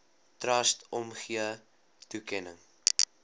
trust omgee toekenning